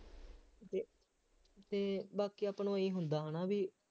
ਅਤੇ ਅਤੇ ਬਾਕੀ ਆਪਾਂ ਨੂੰ ਇਹੀ ਹੁੰਦਾ ਹੈ ਨਾ ਬਈ